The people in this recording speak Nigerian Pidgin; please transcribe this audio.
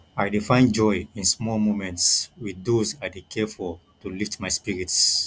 i dey find joy in small moments with those i dey care for to lift my spirits